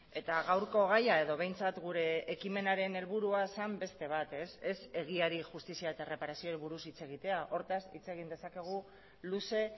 eta gaurko gaia edo behintzat gure ekimenaren helburua zen beste bat ez egiari justizia eta erreparazioari buruz hitz egitea hortaz hitz egin dezakegu luze